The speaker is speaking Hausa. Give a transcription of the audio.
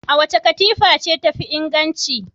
Wace katifa ce tafi inganci?